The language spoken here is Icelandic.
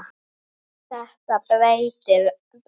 Þetta breytti öllu.